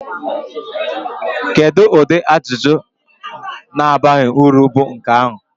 Kedu ụdị ajụjụ na-abaghị uru bụ nke ahụ?